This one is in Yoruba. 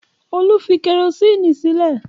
Olú fi kẹrósíínì sílé?